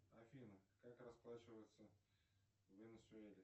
афина как расплачиваются в венесуэле